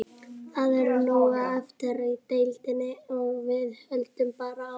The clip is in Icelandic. Það er nóg eftir í deildinni og við höldum bara áfram.